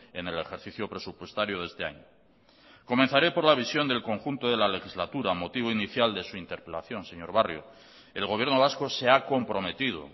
en el ejercicio presupuestario de este año comenzaré por la visión del conjunto de la legislatura motivo inicial de su interpelación señor barrio el gobierno vasco se ha comprometido